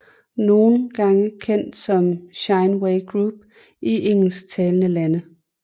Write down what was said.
Nogle gange kendt som Shineway Group i engelsktalende lande